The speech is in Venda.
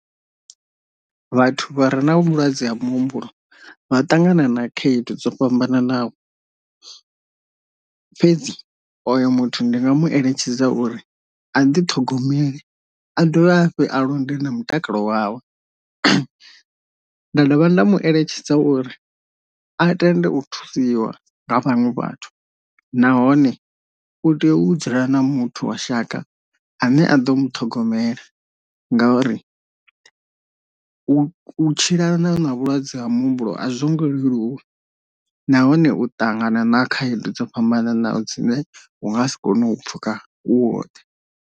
Vhathu vha re na vhulwadze ha muhumbulo vha ṱangana na khaedu dzo fhambananaho, fhedzi oyo muthu ndi nga mueletshedza uri a ndi ṱhogomele a dovhe a hafhu a londe na mutakalo wawe, nda dovha nda mueletshedza uri a tende u thusiwa nga vhaṅwe vhathu nahone u tea u dzula na muthu wa shaka ane a ḓo muṱhogomela ngori u tshila ni na u na vhulwadze ha muhumbulo a zwo ngo leluwa, nahone u ṱangana na khaedu dzo fhambananaho dzine u nga si kone u pfhuka u woṱhe.